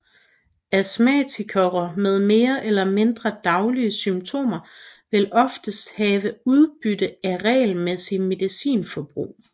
Astmatikere med mere eller mindre daglige symptomer vil oftest have udbytte af regelmæssig medicinbrug